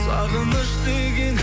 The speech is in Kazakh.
сағыныш деген